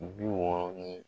Bi wɔɔrɔ ni